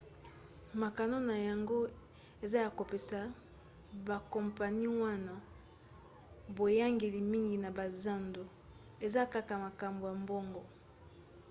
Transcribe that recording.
mokano na yango eza ya kopesa bakompani wana boyangeli mingi na bazando; eza kaka makambo ya mbongo